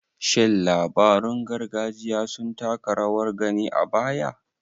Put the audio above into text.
Shin labarun gargajiya sun taka rawar gani a baya?